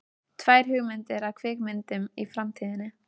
Tvær hugmyndir að kvikmyndum í framtíðinni.